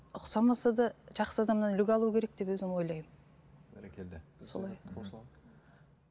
ұқсамаса да жақсы адамнан үлгі алу керек деп өзім ойлаймын бәрекелді